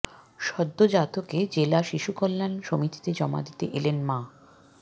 সদ্যোজাতকে জেলা শিশু কল্যাণ সমিতিতে জমা দিতে এলেন মা